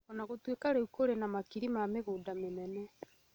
O na gũtuĩka rĩu kũrĩ na makiri ma mĩgũnda mĩnene,